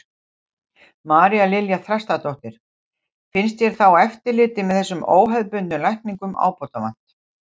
María Lilja Þrastardóttir: Finnst þér þá eftirliti með þessum óhefðbundnu lækningum ábótavant?